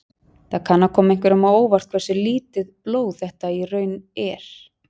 Það kann að koma einhverjum á óvart hversu lítið blóð þetta í raun er.